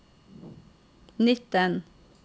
nitten